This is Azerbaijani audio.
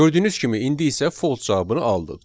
Gördüyünüz kimi indi isə false cavabını aldıq.